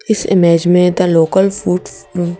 इस इमेज में the local food hmm--